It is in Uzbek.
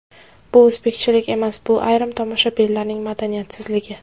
Bu o‘zbekchilik emas bu ayrim tomoshabinlarning madaniyatsizligi.